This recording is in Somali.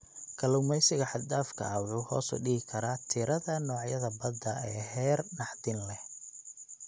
Kalluumeysiga xad dhaafka ah wuxuu hoos u dhigi karaa tirada noocyada badda ee heer naxdin leh.